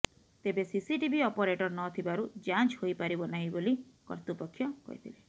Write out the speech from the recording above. ତେବେ CCTV operator ନ ଥିବାରୁ ଯାଞ୍ଚ ହୋଇପାରିବ ନାହିଁ ବୋଲି କର୍ତୃପକ୍ଷ କହିଥିଲେ